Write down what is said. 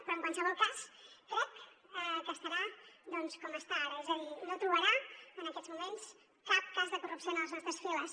però en qualsevol cas crec que estarà doncs com està ara és a dir no trobarà en aquests moments cap cas de corrupció en les nostres files